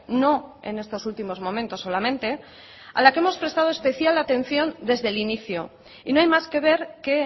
no en estos últimos momentos solamente a la que hemos prestado especial atención desde el inicio y no hay más que ver que